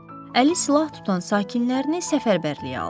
Əli silah tutan sakinlərini səfərbərliyə aldı.